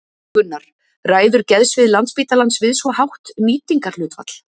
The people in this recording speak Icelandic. Gunnar: Ræður geðsvið Landspítalans við svo hátt nýtingarhlutfall?